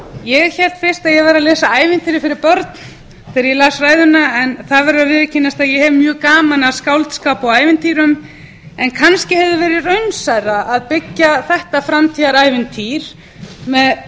ég hélt fyrst að ég væri að lesa ævintýri fyrir börn þegar ég las ræðuna en það verður að viðurkennast að ég hef mjög gaman af skáldskap og ævintýrum en kannski hefði verið raunsærra að byggja þetta framtíðarævintýri með